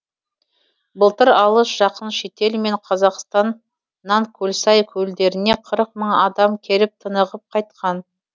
былтыр алыс жақын шетел мен қазақстаннан көлсай көлдеріне қырық мың адам келіп тынығып қайтқан